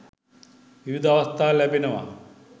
විවිධ අවස්ථා ලැබෙනවා